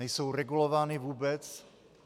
Nejsou regulovány vůbec?